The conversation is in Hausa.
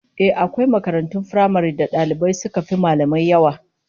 Ehh, akwai makarantun firamaren da dalibai suka fi mallamai yawa